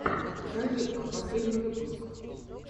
розетка последний выпуск